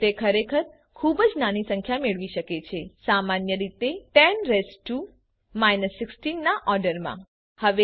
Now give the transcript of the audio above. જો કે તે ખરેખર ખૂબ જ નાની સંખ્યા મેળવી શકે છે સામાન્ય રીતે 10 રેઇઝ ટુ 16 ના ઓર્ડરમાં